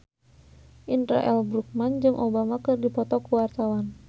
Indra L. Bruggman jeung Obama keur dipoto ku wartawan